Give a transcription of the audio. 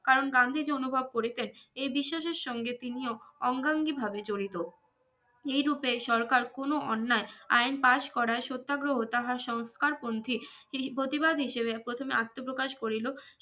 কারন গান্ধীজি অনুভব করেছেন এই বিশ্বাসের সঙ্গে তিনি ও অঙ্গাঙ্গি ভাবে জরিত এই রুপে সরকার কোনো অন্যায় আইন পাশ করায় সত্যাগ্রহ তাহা সংস্থারপন্থী তিনি প্রতিবাদ হিসাবে প্রথমে আত্মপ্রকাশ করিলো